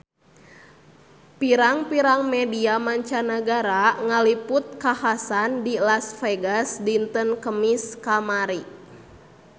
Pirang-pirang media mancanagara ngaliput kakhasan di Las Vegas dinten Kemis kamari